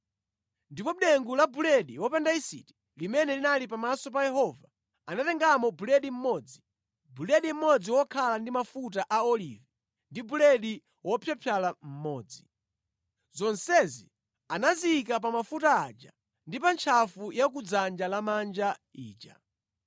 Ndipo mʼdengu la buledi wopanda yisiti limene linali pamaso pa Yehova, anatengamo buledi mmodzi, buledi mmodzi wokhala ndi mafuta a olivi, ndi buledi wopyapyala mmodzi. Zonsezi anaziyika pa mafuta aja ndi pa ntchafu ya ku dzanja lamanja ija.